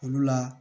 Olu la